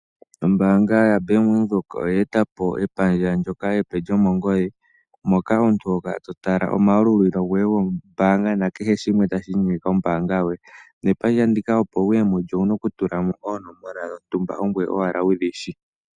Ombaanga ya Bank Windhoek oye etapo epandja ndyoka epe lyomongodhi . Moka omuntu ho kala to tala omayalulilo goye goombaanga na kehe shimwe tashi inyenge kombaanga yoye. Nepandja ndika opo wuye mo mulyo owuna oku tula mo oonomola ongoye owala wudhi shi.